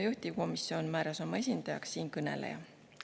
Juhtivkomisjon määras oma esindajaks siinkõneleja.